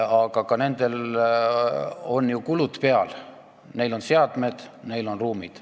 Aga nendel arstidel on ju kulud peal, neil on seadmed, neil on ruumid.